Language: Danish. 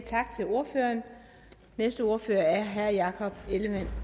tak til ordføreren næste ordfører er herre jakob ellemann